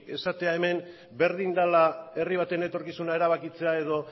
esatea hemen berdin dela herri baten etorkizuna erabakitzea edo